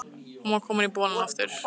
Hún var komin í bolinn aftur.